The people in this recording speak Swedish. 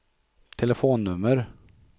telefonnummer